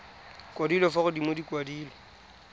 kwadilwe fa godimo di kwadilwe